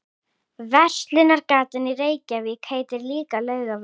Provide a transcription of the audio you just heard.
Verslunargatan í Reykjavík heitir líka Laugavegur.